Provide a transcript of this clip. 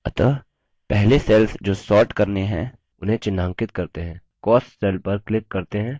अतः पहले cells जो sorted करने हैं उन्हें चिन्हांकित करते हैं cost cells पर क्लिक करते हैं